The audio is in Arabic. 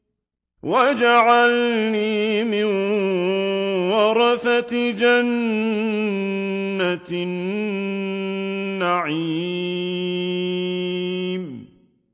وَاجْعَلْنِي مِن وَرَثَةِ جَنَّةِ النَّعِيمِ